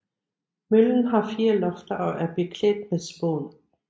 Møllen har fire lofter og er beklædt med spån